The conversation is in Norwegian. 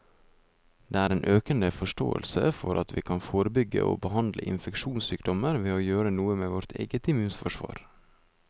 Det er en økende forståelse for at vi kan forebygge og behandle infeksjonssykdommer ved å gjøre noe med vårt eget immunforsvar.